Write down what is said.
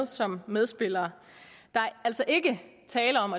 som medspillere der er altså ikke tale om